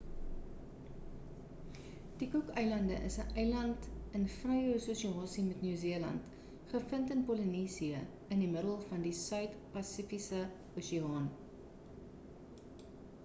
die cook eilande is 'n eiland land in vrye assosiasie met nieu-seeland gevind in polinesië in die middel van die suid-pasifiese oseaan